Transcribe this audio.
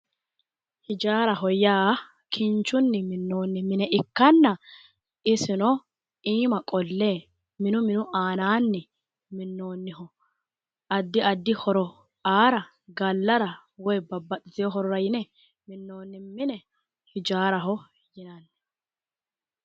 ijaaraho yaa kinchunni minnoonni mine ikkanna isino iima qolle mine minu aana minnoonniho addi addi horo aara gallara woyi babbaxitino horora yine minnoonni mine hijaaraho yinanni.